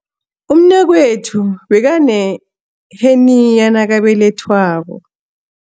Umnakwethu bekaneheniya nakabelethwako.